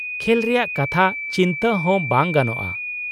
-ᱠᱷᱮᱞ ᱨᱮᱭᱟᱜ ᱠᱟᱛᱷᱟ ᱪᱤᱱᱛᱟᱹ ᱦᱚᱸ ᱵᱟᱝ ᱜᱟᱱᱚᱜᱼᱟ ᱾